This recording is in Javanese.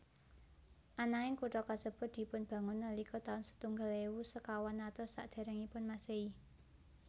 Ananging kutha kasebut dipunbangun nalika taun setunggal ewu sekawan atus sakderengipun Masehi